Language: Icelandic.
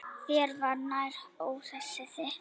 Þér var nær, óhræsið þitt.